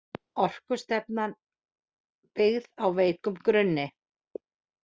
Orkustefnan byggð á veikum grunni